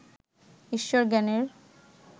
ঈশ্বর জ্ঞানের